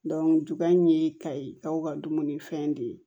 juguya in ye kayi aw ka dumunifɛn de ye